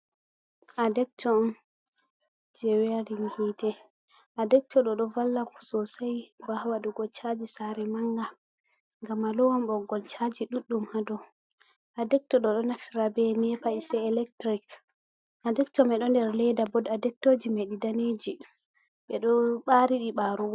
Adecto on je werin hite a decto ɗo ɗo valla sosai ha wa dugo chaji sare manga ngam alowan boggol caji ɗuɗɗum ha dou adecto ɗo ɗo naftira be nepa is a electric a dector mei ɗo nder ledda bod adecto mei dou nder ledda daneji ɓe ɗo ɓariɗi ɓarugo.